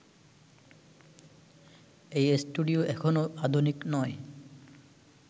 এই স্টুডিও এখনও আধুনিক নয়